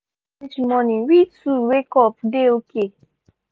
pikin sleep reach morning we two wake up dey okay